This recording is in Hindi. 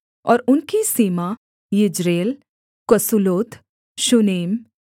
और उनकी सीमा यिज्रेल कसुल्लोत शूनेम